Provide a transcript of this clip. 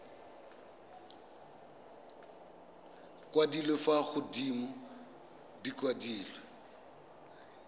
kwadilwe fa godimo di kwadilwe